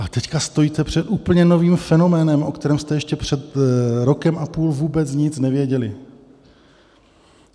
Ale teď stojíte před úplně novým fenoménem, o kterém jste ještě před rokem a půl vůbec nic nevěděli.